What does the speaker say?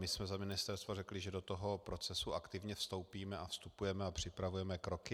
My jsme za ministerstvo řekli, že do toho procesu aktivně vstoupíme, a vstupujeme a připravujeme kroky.